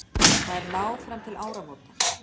Þær ná fram til áramóta